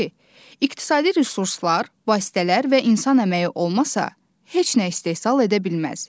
iqtisadi resurslar, vasitələr və insan əməyi olmasa, heç nə istehsal edə bilməz.